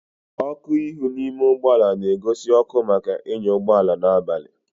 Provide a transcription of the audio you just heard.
ọkụ ihu n'ime ụgbọ ala na-egosi ọkụ maka ịnya ụgbọ ala n'abali